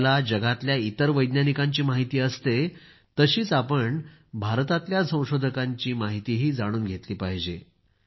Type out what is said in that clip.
आपल्याला दुनियेतल्या इतर वैज्ञानिकांची माहिती असते तशीच आपण भारतातल्या संशोधकांची माहितीही जाणून घेतली पाहिजे